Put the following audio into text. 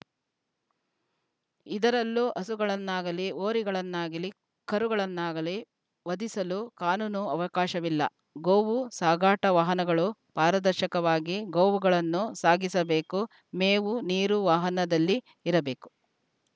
ಇದರಲ್ಲೂ ಹಸುಗಳನ್ನಾಗಲಿ ಹೋರಿಗಳನ್ನಾಗಲಿ ಕರುಗಳಾನ್ನಾಗಲಿ ವಧಿಸಲು ಕಾನೂನು ಅವಕಾಶವಿಲ್ಲ ಗೋವು ಸಾಗಾಟ ವಾಹನಗಳು ಪಾರದರ್ಶಕವಾಗಿ ಗೋವುಗಳನ್ನು ಸಾಗಿಸಬೇಕು ಮೇವು ನೀರು ವಾಹನದಲ್ಲಿ ಇರಬೇಕು